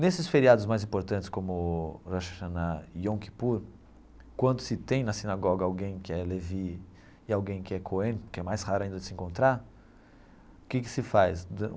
Nesses feriados mais importantes como Rosh Hashanah e Yom Kippur, quando se tem na sinagoga alguém que é Leví e alguém que é Cohen, que é mais raro ainda de se encontrar, o que que se faz?